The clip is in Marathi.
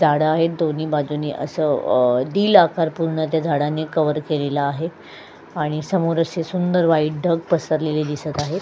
झाड आहेत दोन्ही बाजूनि अस अ त्या झाडांनी कव्हर केलेल आहे आणि समोर अशी सुंदर व्हाईट ढग पसरलेल दिसत आहे.